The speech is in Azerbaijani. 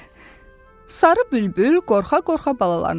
Sarı bülbül qorxa-qorxa balalarını çağırdı.